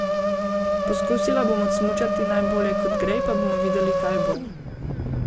Poskusila bom odsmučati najbolje kot gre, pa bomo videli kaj bo.